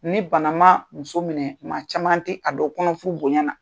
Ni bana maa muso minɛ, maa caman te a don kɔnɔfuru bonya na.